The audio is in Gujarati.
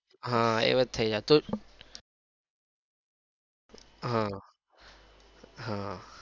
હા એવું જ થઇ જાતું હમ હમ